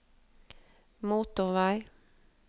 motorvei